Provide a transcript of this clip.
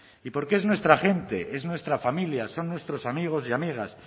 y porque es nuestra gente es nuestra familia son nuestros amigos y amigas